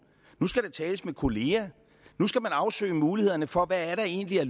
nu skal der tales med kolleger nu skal man afsøge mulighederne for hvad der egentlig er